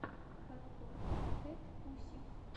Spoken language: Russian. подборка кэтпусик